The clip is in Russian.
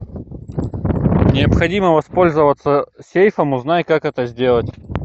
необходимо воспользоваться сейфом узнай как это сделать